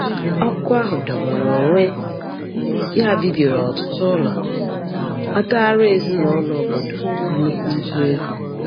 Ọkụ ahụ jọgburu onwe ya bibiri ọtụtụ ụlọ, kpataara ezinaụlọ obodo nnukwu ibu ego.